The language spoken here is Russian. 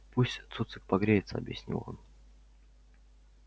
пусть цуцик погреется объяснил он